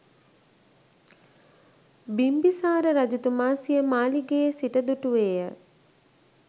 බිම්බිසාර රජතුමා සිය මාලිගයේ සිට දුටුවේය.